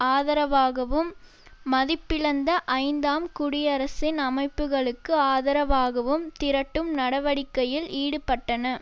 ஆதரவாகவும் மதிப்பிழந்த ஐந்தாம் குடியரசின் அமைப்புகளுக்கு ஆதரவாகவும் திரட்டும் நடவடிக்கையில் ஈடுபட்டன